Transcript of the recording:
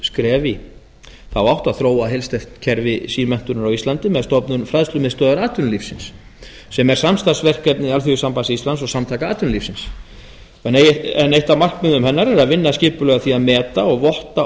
skref í þá átt að þróa heilsteypt kerfi símenntunar á íslandi með stofnun fræðslumiðstöðvar atvinnulífisins sem er samstarfsverkefni alþýðusambands íslands og samtaka atvinnulífsins en eitt af markmiðum hennar er að vinna skipulega að því að meta og votta